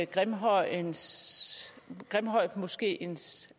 grimhøjmoskeens grimhøjmoskeens